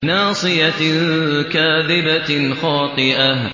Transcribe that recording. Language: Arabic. نَاصِيَةٍ كَاذِبَةٍ خَاطِئَةٍ